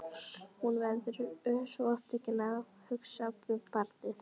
Hún verður svo upptekin af að hugsa um barnið.